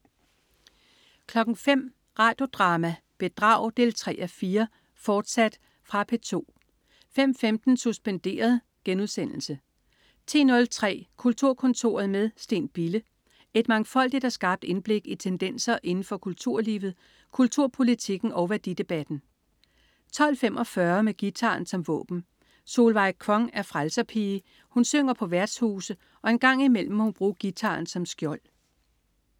05.00 Radio Drama: Bedrag 3:4, fortsat. Fra P2 05.15 Suspenderet* 10.03 Kulturkontoret med Steen Bille. Et mangfoldigt og skarpt indblik i tendenser inden for kulturlivet, kulturpolitikken og værdidebatten 12.45 Med guitaren som våben. Solveig Kvong er frelserpige. Hun synger på værtshuse, og en gang imellem må hun bruge guitaren som skjold